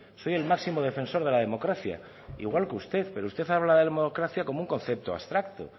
soy el máximo defensor de la democracia igual que usted pero usted habla de democracia como un concepto abstracto